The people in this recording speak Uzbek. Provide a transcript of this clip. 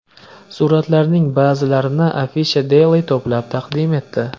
Suratlarning ba’zilarini Afisha Daily to‘plab taqdim etdi .